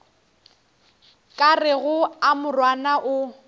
ka rego a morwana o